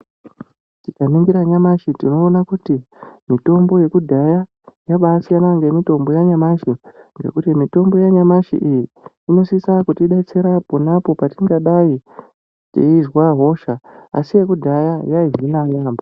Tika ningira nyamashi tinoona kuti mitombo yekudhaya yabai siyana ne mitombo ya nyamashi nekuti mitombo ya nyamashi iyi inosisa kutidetsera ponapo patingadai teizwa hosha asi yekudhaya yai hina yambo.